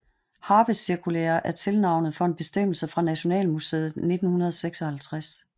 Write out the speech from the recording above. Harpecirkulære er tilnavnet for en bestemmelse fra Nationalmuseet i 1956